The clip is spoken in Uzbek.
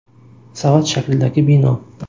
Savat shaklidagi bino.